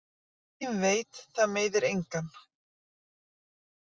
Það sem enginn veit það meiðir engan.